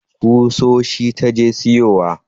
Kusoshi ta je siyowa